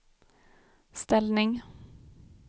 ställning